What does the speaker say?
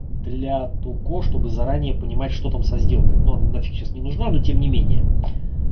для того чтобы заранее понимать что там со сделкой ну нафиг сейчас не нужна но тем не менее